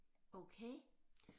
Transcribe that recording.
Okay